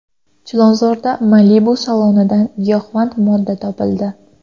Chilonzorda Malibu salonidan giyohvand modda topildi.